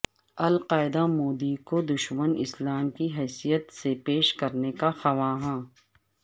القاعدہ مودی کو دشمن اسلام کی حیثیت سے پیش کرنے کا خواہاں